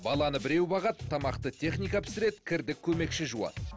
баланы біреу бағады тамақты техника пісіреді кірді көмекші жуады